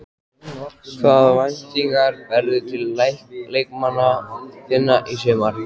Hvaða væntingar berðu til leikmanna þinna í sumar?